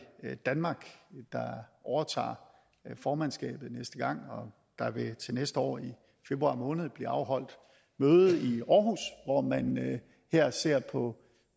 danmark der overtager formandskabet næste gang og der vil til næste år i februar måned blive afholdt et møde i århus hvor man her ser på